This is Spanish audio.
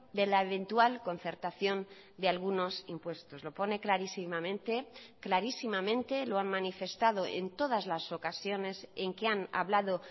de la eventual concertación de algunos impuestos lo pone clarísimamente clarísimamente lo han manifestado en todas las ocasiones en que han hablado